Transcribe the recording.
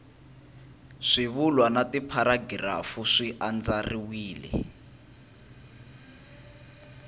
swivulwa na tipharagirafu swi andlariwile